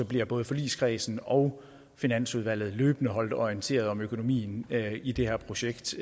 bliver både forligskredsen og finansudvalget løbende holdt orienteret om økonomien i det her projekt